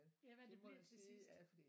Ja hvad det bliver til sidst